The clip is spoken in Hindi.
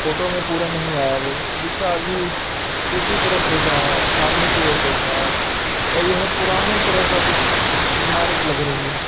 फोटो में पूरा नहीं आया है वो दूसरा आदमी दूसरी तरफ देख रहा है। सामने की ओर देख रहा है और यह पुराने तरह का कुछ इमारत लग रही है।